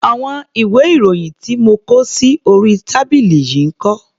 Àwọn ìwé-ìròyìn tí mo kó sí orí tábìlì yìí ń kọ́?